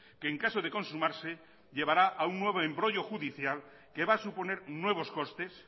que en caso de consumarse llevará a un nuevo embrollo judicial que va a suponer nuevos costes